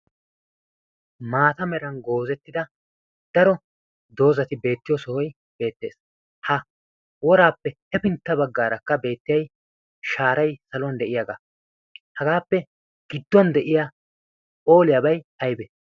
maata meran goozettida daro doozati beettiyo sohoy beettees. ha woraappe hefintta baggaarakka beettiyai shaaray saluwan de'iyaagaa hagaappe gidduwan de'iya ooliyaabay aybe?